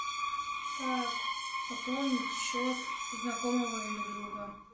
как пополнить счет знакомого или друга